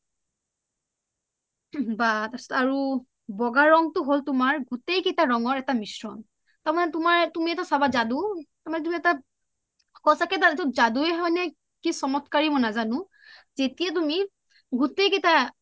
বা বগা ৰংটো হ’ল তুমাৰ গোতেই কেইটা ৰংৰ এটা মিশ্ৰণ আমাৰ তুমি এটা চাবা যাদু সচাকে যাদুয়ে হয় নে কি চমটকাৰে হয় কি মই নাজানো যেতিয়া তুমি গুতেই কেইটা